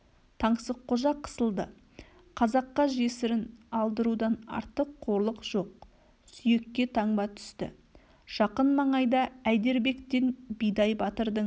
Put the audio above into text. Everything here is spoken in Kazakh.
таңсыққожа қысылды қазаққа жесірін алдырудан артық қорлық жоқ сүйекке таңба түсті жақын маңайда әйдербектен бидай батырдың